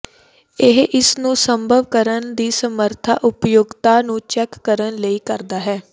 ਇਹ ਇਸ ਨੂੰ ਸੰਭਵ ਕਰਨ ਦੀ ਸਮਰੱਥਾ ਉਪਯੋਗਤਾ ਨੂੰ ਚੈੱਕ ਕਰਨ ਲਈ ਕਰਦਾ ਹੈ